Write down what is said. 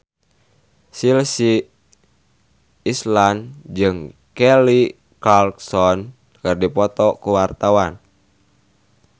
Chelsea Islan jeung Kelly Clarkson keur dipoto ku wartawan